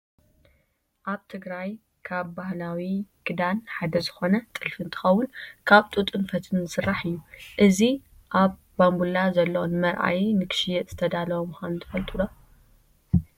ኣብ ትግራይ ካብ ባህላዊ ክዳን ሓደ ዝኮነ ጥልፊ እንትከውን ካብ ጡጥን ፈትልን ዝስራሕ እዩ። እዚ ኣብ ባንቡላ ዘሎ ንመርአይ ንክሽየጥ ዝተዳለወ ምኳኑ ትፈልጡ ዶ ?